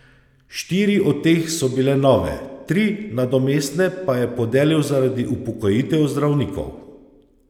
Štiri od teh so bile nove, tri nadomestne pa je podelil zaradi upokojitev zdravnikov.